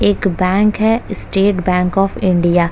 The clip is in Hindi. एक बैंक है स्टेट बैंक ऑफ़ इंडिया ।